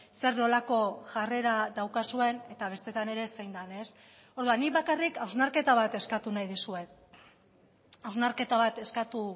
zer nolako jarrera daukazuen eta bestetan ere zein den ez orduan nik bakarrik hausnarketa bat eskatu nahi dizuet hausnarketa bat eskatu